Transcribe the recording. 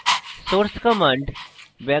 source command